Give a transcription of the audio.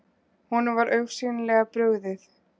Honum var augsýnilega brugðið.